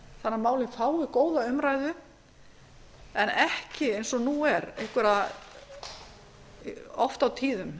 að málið fái góða umræðu en ekki eins og nú er einhverja oft á tíðum